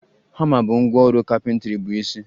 Hama bụ ngwá ọrụ carpentry bụ isi.